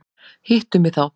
Hittu mig þá.